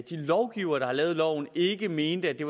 lovgivere der har lavet loven ikke mener at det